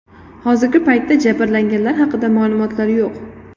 Hozirgi paytda jabrlanganlar haqida ma’lumotlar yo‘q.